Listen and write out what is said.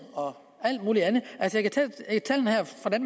og alt muligt andet